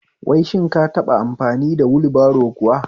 Wai shin ka taɓa amfani wulbaro kuwa?